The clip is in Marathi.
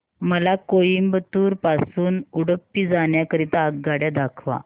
मला कोइंबतूर पासून उडुपी जाण्या करीता आगगाड्या दाखवा